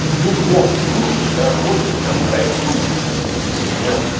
в любом случае дороже чем в россии ну типа все